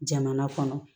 Jamana kɔnɔ